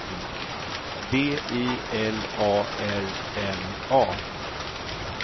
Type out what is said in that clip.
B I L A R N A